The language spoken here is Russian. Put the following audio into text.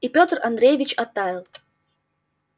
и петр андреевич оттаял